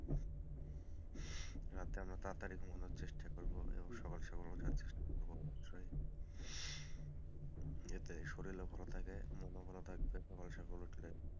রাতে আমরা তাড়াতাড়ি ঘুমানোর চেষ্টা করবো এবং সকাল সকাল উঠার চেষ্টা করবো অবশ্যই এতে শরীরও ভালো থাকে মনো ভালো থাকবে সকাল সকাল উঠলে,